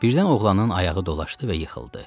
Birdən oğlanın ayağı dolaşdı və yıxıldı.